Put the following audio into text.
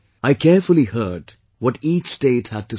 I carefully heard what each state had to say